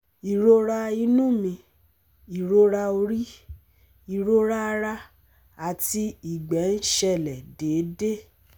Ìrora inú mi, ìrora orí, ìrora ara àti ìgbẹ́ ń ṣẹlẹ̀ déédéé